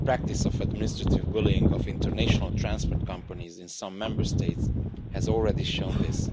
The practice of administrative bullying of international transport companies in some Member States has already shown this.